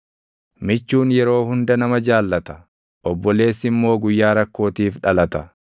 Michuun yeroo hunda nama jaallata; obboleessi immoo guyyaa rakkootiif dhalata.